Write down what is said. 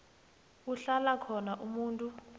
kuhlala khona umuntu